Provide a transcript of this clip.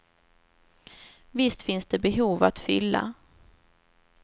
Visst finns det behov att fylla.